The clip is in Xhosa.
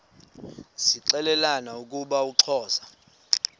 zixelelana ukuba uxhosa